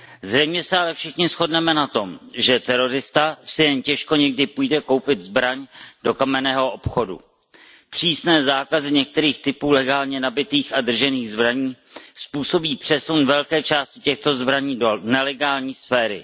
Zřejmě se ale asi všichni shodneme na tom, že terorista si jen těžko někdy půjde koupit zbraň do kamenného obchodu. Přísné zákazy některých typů legálně nabytých a držených zbraní způsobí přesun velké části těchto zbraní do nelegální sféry.